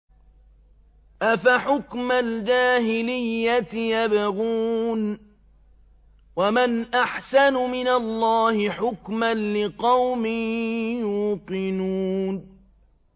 أَفَحُكْمَ الْجَاهِلِيَّةِ يَبْغُونَ ۚ وَمَنْ أَحْسَنُ مِنَ اللَّهِ حُكْمًا لِّقَوْمٍ يُوقِنُونَ